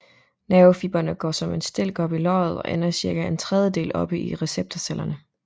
Nervefibre går som en stilk op i løget og ender cirka en tredjedel oppe i receptorcellerne